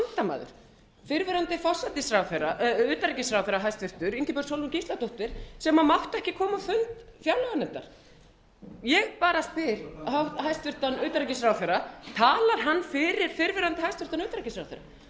hans vandamaður fyrrverandi hæstvirtur utanríkisráðherra ingibjörg sólrún gísladóttir sem mátti ekki koma á fund fjárlaganefndar ég spyr hæstvirts utanríkisráðherra talar hann fyrir fyrrverandi hæstvirtur utanríkisráðherra